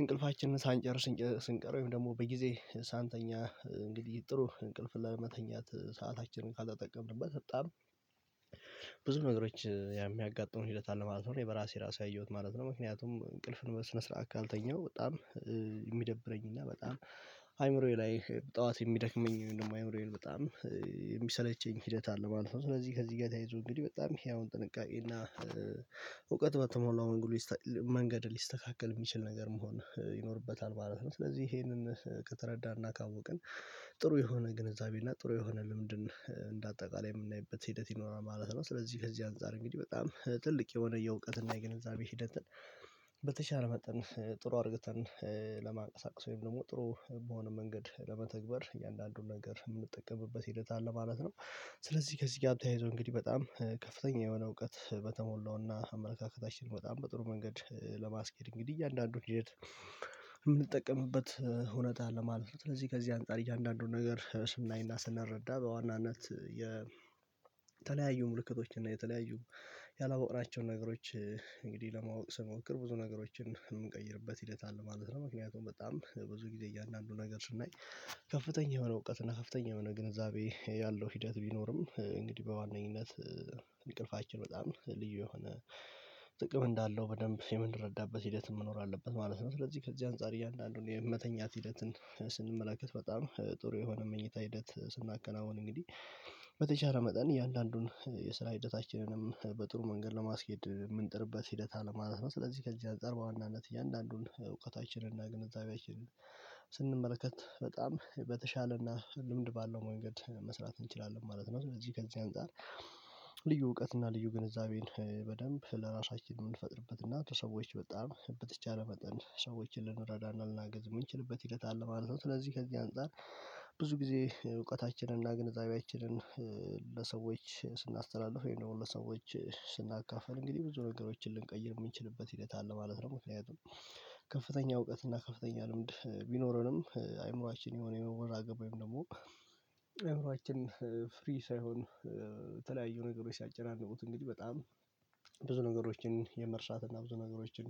እንቅልፋችንን ሳንጨርስ ስንቀር ወይም ደግሞ በጊዜ ሳንተኛ እንግዲህ ጥሩ እንቅልፍን ለመተኛት ሰአታችንን ካልተጠቀምንበት በጣም ብዙ ነገሮች የሚያጋጥሙኝ ሂደት አለ ማለት ነው። በራሴ ራሱ ያየሁት ማለት ነው ምክንያቱም እንቅልፍን በስነ ስርዓት ካልተኛሁ በጣም የሚደብረኝ እና በጣም አይምሮዬ ላይ ጠዋት የሚደክመኝ እንደማይምረው በጣም የሚሰለቸኝ ሂደት አለ ማለት ነው። ስለዚህ ከዚህ ጋር ተያይዞ እንግዲህ በጣም ይሄ አሁን ጥንቃቄ እና እውቀት በተሞላው መንገድ መንገድ ሊስተካከል የሚችል ነገር መሆን ይኖርበታል ማለት ነው። ስለዚህ ይሄንን ከተረዳን እናካወቅን ጥሩ የሆነ ግንዛቤ እና ጥሩ የሆነ ልምድን እንደ አጠቃላይ የምናይበት ሂደት ይኖራል ማለት ነው ስለዚህ ከዚህ አንፃር እንግዲህ በጣም ትልቅ የሆነ የእውቀት እና የገነዛቤ ሂደት በተቻለ መጠን ጥሩ አድርገን ለማንቀሳቀስ ወይም ደግሞ ጥሩ በሆነ መንገድ ለመተግበር እያንዳንዱን ነገር የምንጠቀምበት ሂደት አለ ማለት ነው ስለዚህ ከዚህ ጋር ተያይዞ እንግዲህ በጣም ከፍተኛ የሆነ እውቀት በተሞላውና አመለካከታችን በጣም በጥሩ መንገድ ለማስኬድ እንግዲህ እያንዳንዱን ሂደት የምንጠቀምበት እውነት አለ ማለት ስለዚህ ከዚህ አንፃር እያንዳንዱን ነገር ስናይና ስናረዳ በዋናነት የተለያዩ ምልክቶች እና የተለያዩ ያላወቅናቸውን ነገሮች እንግዲህ ለማወቅ ስሞክር ብዙ ነገሮችን እንቀይርበት ይለታል ማለት ነው ምክንያቱም በጣም ብዙ ጊዜ እያንዳንዱ ነገር ስናይ ከፍተኛ የሆነ እውቀት እና ከፍተኛ የሆነ ግንዛቤ ያለው ሂደት ቢኖርም እንግዲህ በዋነኝነት እንቅልፋችን በጣም ልዩ የሆነ ጥቅም እንዳለው በደንብ የምንረዳበት ሂደት መኖር አለበት ማለት ነው። ስለዚህ ከዚህ አንፃር እያንዳንዱን የመተኛት ሂደትን ስንመለከት በጣም ጥሩ የሆነ መኝታ ሂደት ስናከናውን እንግዲህ በተቻለ መጠን እያንዳንዱን የስራ ሂደታችንንም በጥሩ መንገድ ለማስኬድ የምንጥርበት ሂደት አለማለት ነው። ስለዚህ ከዚህ አንጥጻር በዋናነት እያንዳንዱን እውቀታችንን እና ግንዛቤያችንን ስንመለከት በጣም በተሻለና ልምድ ባለው መንገድ መስራት እንችላለን ማለት ነው። ስለዚህ ከዚህ አንፃር ልዩ እውቀት እና ልዩ ግንዛቤን በደንብ ለራሳችን የምንፈጥርበት እና ለሰዎች በጣም በተቻለ መጠን ሰዎችን ልንረዳና ልናገዝ የምንችልበት ይለታል ማለት ነው ስለዚህ ከዚህ አንፃር ብዙ ጊዜ እውቀታችንን እና ግንዛቤያችንን ለሰዎች ስናስተላልፍ ወይም ደግሞ ለሰዎች ስናካፍን እንግዲህ ብዙ ነገሮችን ልንቀይር የምንችልበት ሂደት አለ ማለት ነው። መለያየቱን ከፍተኛ እውቀት እና ከፍተኛ ልምድ ቢኖረንም አይምሮአችን የሆነ ወራ ገባኝ ወይም ደግሞ አእምሮአችን ፈሪ ሳይሆን የተለያዩ ነገሮች ሲያጨናንቁት እንግዲህ በጣም ብዙ ነገሮችን የመርሳት እና ብዙ ነገሮችን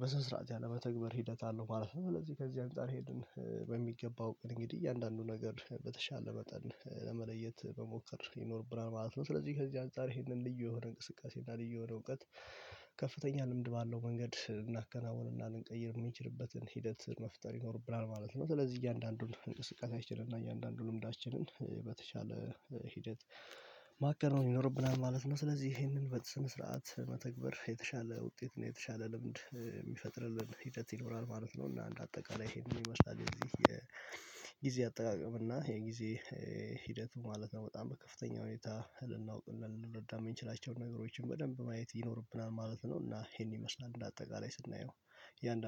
በስነ ስርዓት ያለመተግበር ሂደት አለው ማለት ነው። ስለዚህ ከዚህ አንፃር ይሄንን በሚገባው እንግዲህ እያንዳንዱ ነገር በተሻለ መጠን ለመለየት መሞከር ይኖርብናል ማለት ነው። ስለዚህ ከዚህ አንፃር ይሄንን ልዩ የሆን እንቅስቃሴ እና ልዩ የሆነ እውቀት ከፍተኛ ልምድ ባለው መንገድ እናከናውንና ልንቀይር የሚችልበትን ሂደት መፍጠር ይኖርብናል ማለት ነው። ስለዚህ እያንዳንዱን እንቅስቃሴያችንን እያንዳንዱን ልምዳችንን በተቻለ ሂደት ማከናወን ይኖርብናል ማለት ነው ስለዚህ ይሄንን በስነ ስርዓት መተግበር የተሻለ ውጤት ነው የተሻለ ልምድ የሚፈጥርልን ሂደት ይኖራል ማለት ነው። እና እንደ አጠቃላይ ይሄንን ይመስላል እንግዲህ የጊዜ አጠቃቀም እና የጊዜ ሂደቱ ማለት ነው። በጣም በከፍተኛ ሁኔታ ልናውቅ ልንረዳም የምንችላቸውን ነገሮችን በደንብ ማየት ይኖርብናል ማለት ነው። እና ይሄን ይመስላል በአጠቃላይ ስናየው ያንዳንዱ